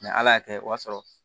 ala y'a kɛ o y'a sɔrɔ